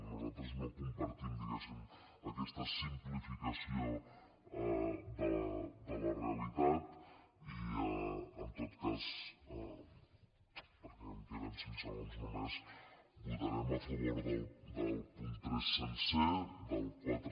nosaltres no compartim diguéssim aquesta simplificació de la realitat i en tot cas perquè em queden cinc segons només votarem a favor del punt tres sencer del quatre